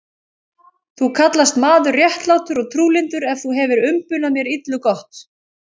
Þú kallast maður réttlátur og trúlyndur, en þú hefir umbunað mér illu gott.